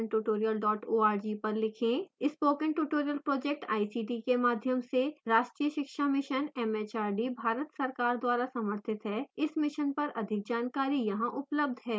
spoken tutorial project ICT के माध्यम से राष्ट्रीय शिक्षा mission एमएचआरडी भारत सरकार द्वारा समर्थित है इस mission पर अधिक जानकारी यहां उपलब्ध है: